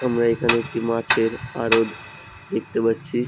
আমরা এখানে একটি মাছের আরদ দেখতে পাচ্ছি ।